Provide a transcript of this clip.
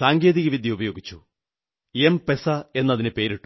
സാങ്കേതികവിദ്യ ഉപയോഗിച്ചു എംപെസാ എന്നു പേരിട്ടു